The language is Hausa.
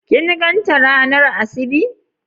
kin gan ta ranar asibi?